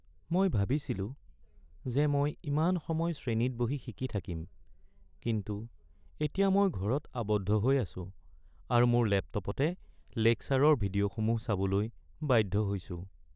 মই ভাবিছিলো যে মই ইমান সময় শ্ৰেণীত বহি শিকি থাকিম, কিন্তু এতিয়া মই ঘৰত আবদ্ধ হৈ আছো আৰু মোৰ লেপটপতে লেকচাৰৰ ভিডিঅ’সমূহ চাবলৈ বাধ্য হৈছোঁ।